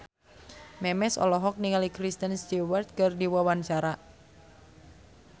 Memes olohok ningali Kristen Stewart keur diwawancara